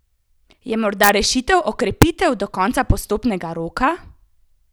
Je morda rešitev okrepitev do konca prestopnega roka?